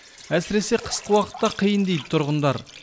әсіресе қысқы уақытта қиын дейді тұрғындар